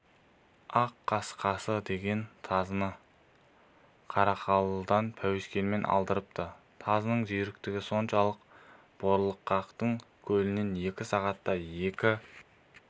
ақ қасқасы деген тазыны қарқаралыдан пәуескемен алдырыпты тазының жүйріктігі соншалықты борлықақтың көлінен екі сағатта екі